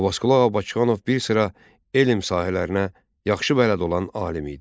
Abbasqulu Ağa Bakıxanov bir sıra elm sahələrinə yaxşı bələd olan alim idi.